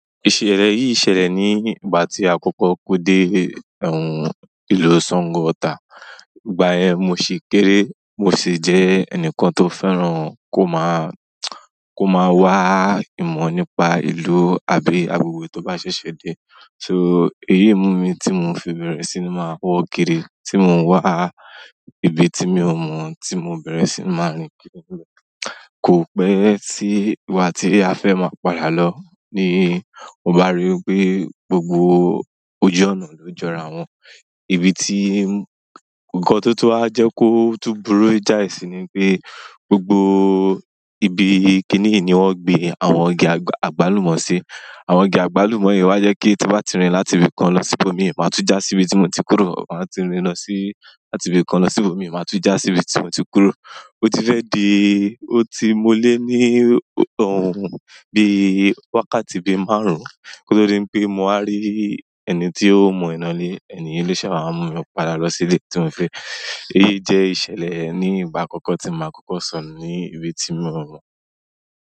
Ìṣẹ̀lẹ̀ yìí ṣẹlẹ̀ ní ìgbà tí à kọ́kọ́ ko dé ìlú Sango Ota. Ìgbà yẹn mo ṣì kéré, mo sì jẹ́ ẹnìkan tó fẹ́ràn kó máa, wá ìmọ̀ nípa ìlú àbí agbègbè tó bá ṣẹ̀ṣẹ̀ dé. So, èyí mumi ti mo fi bẹ̀rẹ̀ sí ni máa wo kiri tí mo wá ibi tí mi ò mọ̀ tí mo bẹ̀rẹ̀ sí máa rin. Kò pẹ́ tí ìgbà tí a fẹ́ máa padà lọ ní mo bá ríi pé gbogbo ojú ọ̀nà ló jọra wọn. Ibi tí, ǹkan tó tó wa jẹ́ kó tún burú jáì sì ni pé gbogbo ibi kíní yìí ni wọ́n gbé àwọn igi àgbálùmọ̀ sí. Àwọn igi àgbálùmọ̀ yìí wá jẹ́ kí tí n bá ti rìn láti ibi kan lọ sí ibòmíràn, máa tún já síbi tí mo ti kúrò. Máa ti rìn lọ sí, láti ibi kan lọ sí ibòmíràn, máa tú já síbi tí mo ti kúrò. Ó ti fẹ́ di, ó ti mọ lé ní bí wákàtí bí márùn-ún ko tó di pé mo wá rí ẹni tí ó mọ ọnà ile, ẹnì yi lo ṣẹ́ wá mú mi padà lọ sílé tí mò fi. Èyí jẹ́ ìṣẹ̀lẹ̀ ní ìgbà àkọ́kọ́ tí màá kọ́kọ́ sọnù ní ibi tí mi ò mọ̀.